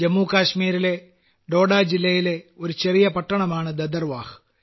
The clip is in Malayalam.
ജമ്മു കാശ്മീരിലെ ഡോഡാജില്ലയിലെ ഒരു ചെറിയ പട്ടണമാണ് ഭദർവാഹ്